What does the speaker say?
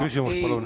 Küsimus, palun!